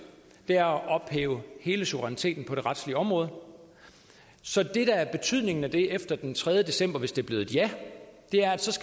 er at ophæve hele suveræniteten på det retslige område så det der er betydningen af det efter den tredje december hvis det er blevet et ja er